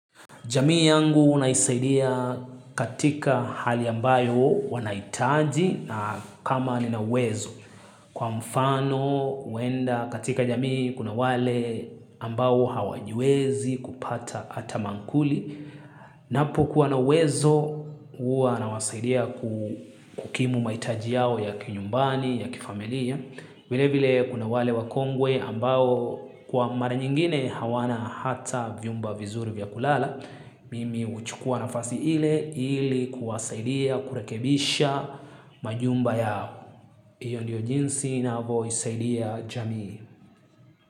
Jamii yangu unaisaidia katika hali ambayo wanahitaji na kama nina uwezo. Kwa mfano, uenda katika jamii kuna wale ambao hawajwezi kupata ata mankuli. Napo kuwa nawezo, uwa nawasaidia kukimu mahitaji yao ya kinyumbani, ya kifamilia. Vile vile kuna wale wakongwe ambao kwa mara nyingine hawana hata vyumba vizuri vya kulala. Mimi huchukua nafasi ile ili kuwasaidia kurekebisha majumba yao. Iyo ndiyo jinsi inavo isaidia jamii.